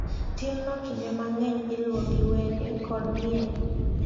Timno kinde mang’eny iluwo gi wende kod miel .